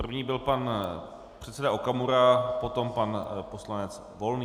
První byl pan předseda Okamura, potom pan poslanec Volný.